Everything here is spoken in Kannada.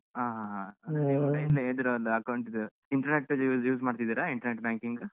ಆ ಆ ಆ accounts ದು internet ದು use ಮಾಡ್ತಿದ್ದೀರಾ internet banking ?